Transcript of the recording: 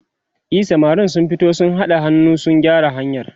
e samarin sun fito sun haɗa hannu sun gyara hanyar